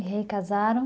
E aí, casaram?